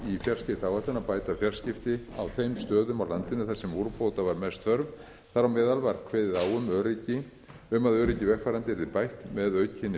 að bæta fjarskipti á þeim stöðum á landinu þar sem úrbóta var mest þörf þar á meðal var kveðið á um að öryggi vegfarenda yrði bætt með aukinni